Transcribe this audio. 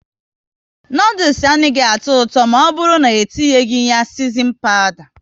Noodules anaghị atọ ụtọ maọburu n'etinyi ya sisinin pawda